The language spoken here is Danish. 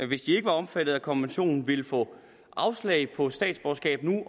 hvis de ikke var omfattet af konventionen nu ville få afslag på statsborgerskab